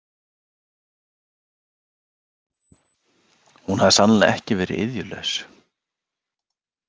Hún hafði sannarlega ekki verið iðjulaus.